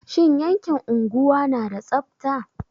Shin yankin unguwa na da tsabta?